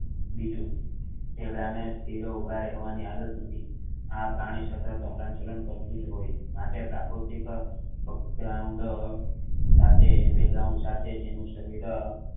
બીજું ઝીબ્રા ને ઊંધા કરવાની આદત નથી આ પ્રાણી સતત હલન ચલન કરતુ હોય છે માટે પ્રાકૃતિક સાથે beground સાથે તેનું શરીર